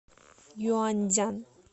юаньцзян